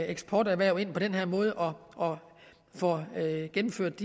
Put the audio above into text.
eksporterhverv ind på den her måde og får gennemført